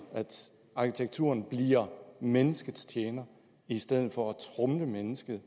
at arkitekturen bliver menneskets tjener i stedet for at tromle mennesket